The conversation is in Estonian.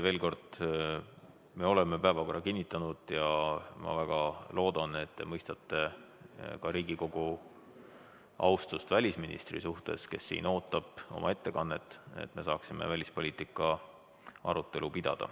Veel kord: me oleme päevakorra kinnitanud ja ma väga loodan, et te mõistate ka Riigikogu austust välisministri suhtes, kes siin ootab, et pidada oma ettekannet ja seda, et me saaksime pidada välispoliitika arutelu.